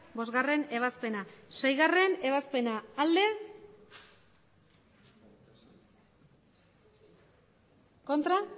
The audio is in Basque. bostgarrena ebazpena seigarrena ebazpena emandako botoak